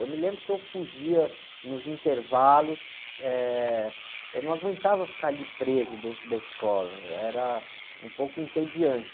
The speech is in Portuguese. Eu me lembro que eu fugia nos intervalos, eu não aguentava ficar ali preso dentro da escola, era um pouco entediante.